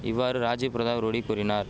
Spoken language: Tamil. இவ்வாறு ராஜிவ் பிரதாப் ரூடி கூறினார்